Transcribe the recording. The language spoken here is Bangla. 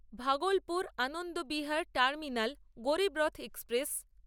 Bhagalpur Anand Vihar terminal Garib Rath express